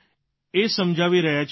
એ સમજાવી રહ્યા છીએ સર